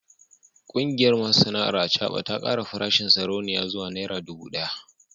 Kungiyar masu sana’ar acaba ta kara farashin sarauniya zuwa naira dubu daya